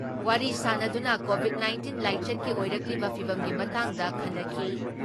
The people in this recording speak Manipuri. ꯋꯥꯔꯤ ꯁꯥꯟꯅꯗꯨꯅ ꯀꯣꯚꯤꯠ ꯅꯥꯏꯟꯇꯤꯟ ꯂꯥꯏꯆꯠꯀꯤ ꯑꯣꯏꯔꯛꯂꯤꯕ ꯐꯤꯚꯝꯒꯤ ꯃꯇꯥꯡꯗ ꯈꯟꯅꯈꯤ ꯫